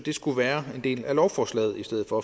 skulle være en del af lovforslaget i stedet for